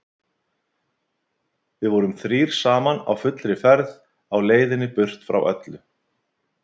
Við vorum þrír saman á fullri ferð á leiðinni burt frá öllu.